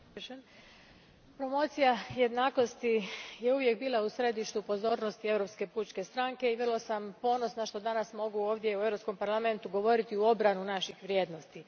Gospođo predsjedavajuća, promocija jednakosti je uvijek bila u središtu pozornosti Europske pučke stranke i vrlo sam ponosna što danas mogu u Europskom parlamentu govoriti u obranu naših vrijednosti.